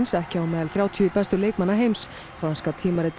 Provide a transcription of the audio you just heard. ekki á meðal þrjátíu bestu leikmanna heims franska tímaritið